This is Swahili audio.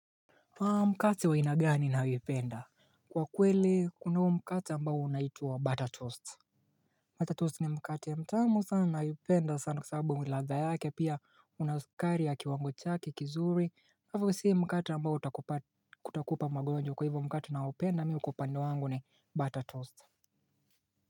Haa mkate wa aina gani unayoipenda Kwa kweli kunao mkate ambao unaitwa butter toast Butter toast ni mkate mtamu sana nayoipenda sana kwa sababu ladha yake pia una sukari ya kiwango chake kizuri hivo si mkate ambao utakupa utakupa magonjwa kwa hivyo mkate ninaoupenda mi kwa upande wangu ni butter toast.